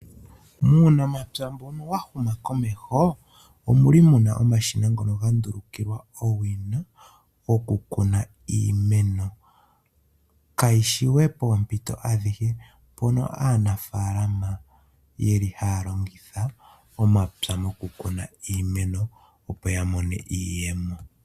Uunamapya mbuno wahuma komeho omuli muna omashina ngono gandulukiwa owina oku kuna iimeno. Kashi shiwe pompito adhihe mpono aanafalama yeli haya longitha omapya moku kuna iimeno opo ya mone iiyemo.